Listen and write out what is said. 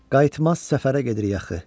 Qayıtmaz səfərə gedirik axı.